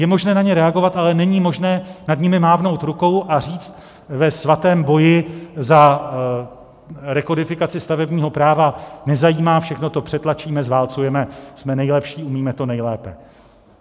Je možné na ně reagovat, ale není možné nad nimi mávnout rukou a říct: Ve svatém boji za rekodifikaci stavebního práva nezajímá, všechno to přetlačíme, zválcujeme, jsme nejlepší, umíme to nejlépe.